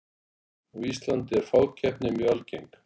Á Íslandi er fákeppni mjög algeng.